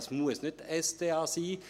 Es muss nicht die SDA sein.